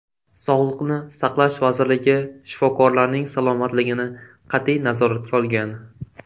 Sog‘liqni saqlash vazirligi shifokorlarning salomatligini qat’iy nazoratga olgan.